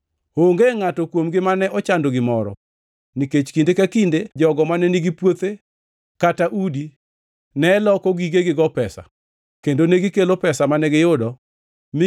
Onge ngʼato kuomgi mane ochando gimoro, nikech kinde ka kinde jogo mane nigi puothe kata udi ne loko gigegigo pesa, kendo negikelo pesa mane giyudo mi